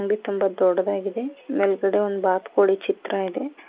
ತುಂಬ ದೊಡ್ಡಗಾಡಿದೆ ಮೇಲ್ಗಡೆ ಒಂದು ಬಾತ್ ಕೋಳಿ ಚಿತ್ರ ಇದೆ.